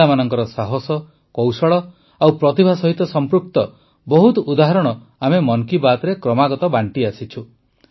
ମହିଳାମାନଙ୍କ ସାହସ କୌଶଳ ଓ ପ୍ରତିଭା ସହିତ ସମ୍ପୃକ୍ତ ବହୁତ ଉଦାହରଣ ଆମେ ମନ୍ କୀ ବାତ୍ରେ କ୍ରମାଗତ ବାଣ୍ଟି ଆସିଛୁ